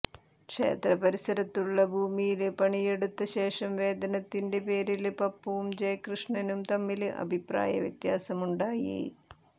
ക്ഷേത്രപരിസരത്തുളള ഭൂമിയില് പണിയെടുത്ത ശേഷം വേതനത്തിന്റെ പേരില് പപ്പുവും ജയകൃഷ്ണനും തമ്മില് അഭിപ്രായ വ്യത്യാസമുണ്ടായി